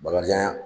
Bakarijan